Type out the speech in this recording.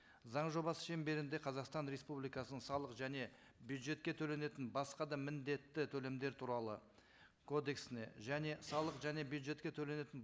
заң жобасы шеңберінде қазақстан республикасының салық және бюджетке төленетін басқа да міндетті төлемдер туралы кодексіне және салық және бюджетке төленетін